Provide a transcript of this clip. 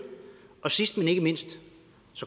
og sidst men ikke mindst